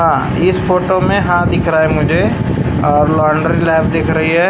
अ इस फोटो में हाथ दिख रहा मुझे और दिख रही हैं।